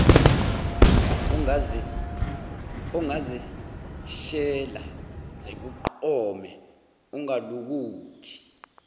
ongazeshela zikuqome ungalokothi